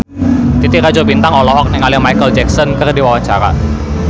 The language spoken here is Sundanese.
Titi Rajo Bintang olohok ningali Micheal Jackson keur diwawancara